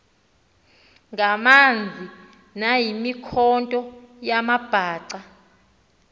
ngamanzi nayimikhonto yamabhaca